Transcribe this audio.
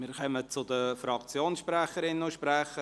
Wir kommen zu den Fraktionssprecherinnen und -sprechern.